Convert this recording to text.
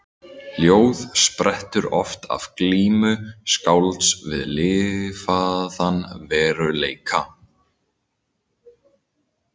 Ljóð sprettur oft af glímu skálds við lifaðan veruleika.